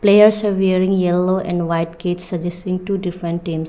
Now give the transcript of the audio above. they also wearing yellow and white kid suggesting two different teams.